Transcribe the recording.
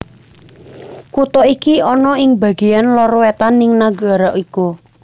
Kutha iki ana ing bagéyan lor wétan ing nagara iku